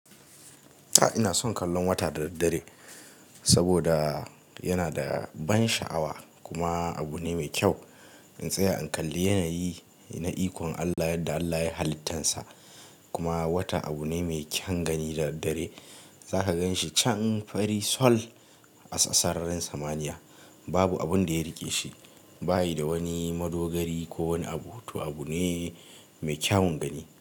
Ina son kallon wata da daddare saboda yana da ban sha'awa kuma abu ne mai kyau. In tsaya in kalli yanayi na ikon Allah yadda Allah yayi halittarsa kuma wata abu ne mai kyaun gani da daddare. Zaka gan shi can fari sol a sararin samaniya babu abun da ya riƙe shi, bayi da wani madogari ko wani abu, to abu ne mai kyawun gani.